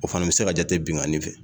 O fana bɛ se ka jate binkannin fɛ